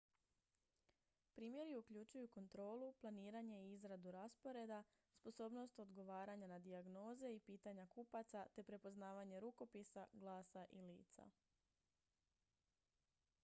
primjeri uključuju kontrolu planiranje i izradu rasporeda sposobnost odgovaranja na dijagnoze i pitanja kupaca te prepoznavanje rukopisa glasa i lica